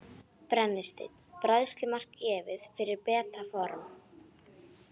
Brennisteinn: Bræðslumark gefið fyrir beta form.